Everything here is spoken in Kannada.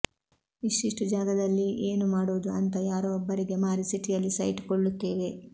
ಇಷ್ಟಿಷ್ಟು ಜಾಗದಲ್ಲಿ ಏನು ಮಾಡುವುದು ಅಂತ ಯಾರೋ ಒಬ್ಬರಿಗೆ ಮಾರಿ ಸಿಟಿಯಲ್ಲಿ ಸೈಟು ಕೊಳ್ಳುತ್ತೇವೆ